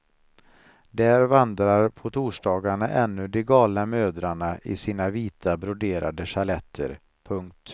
Där vandrar på torsdagarna ännu de galna mödrarna i sina vita broderade sjaletter. punkt